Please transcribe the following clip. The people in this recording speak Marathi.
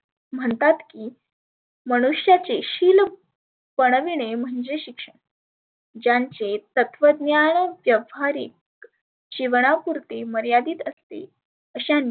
म्हणतात की मनुष्याचे शिल घडविने म्हणजे शिक्षण. च्याचे तत्वज्ञान व्यवहारीक जिवना पुरते मर्यादीत सते अश्यांनी